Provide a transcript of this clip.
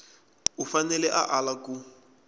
u fanele a ala ku